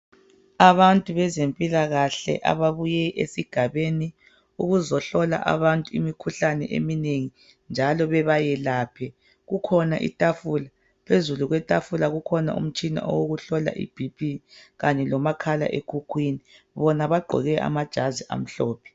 Abantu bezempilakahle ababuye esigabeni ukuzohlola abantu imikhuhlane eminengi njalo bebayelaphe. Kukhona itafula phezulu kwetafula kukhona umtshina owokuhlola iBP kanye lomakhala ekhukhwini. Bona bagqoke amajazi amhlophe.